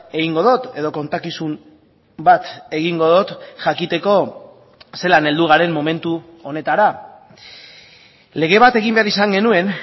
egingo dut edo kontakizun bat egingo dut jakiteko zelan heldu garen momentu honetara lege bat egin behar izan genuen